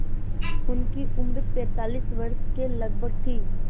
उनकी उम्र पैंतालीस वर्ष के लगभग थी